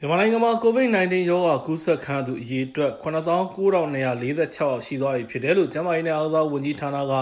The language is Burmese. မြန်မာနိုင်ငံမှာ COVID-19 ရောဂါကူးစက်သူ အရေအတွက် ၇၉,၂၄၆ ယောက်ရှိသွားပြီ ဖြစ်တယ်လို့ ကျန်းမာရေးနဲ့ အားကစားဝန်ကြီးဌာနက